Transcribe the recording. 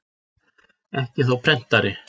Ekki þó prentari?